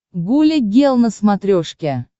гуля гел на смотрешке